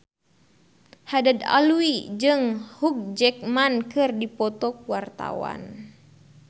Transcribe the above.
Haddad Alwi jeung Hugh Jackman keur dipoto ku wartawan